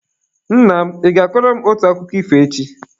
Nna m, ị ga-akọrọ m otu akụkọ ifo echi?